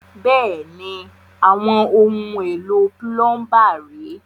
Bẹ́ẹ̀ni, àwọn ohun èlò púlọ́ńbà ré.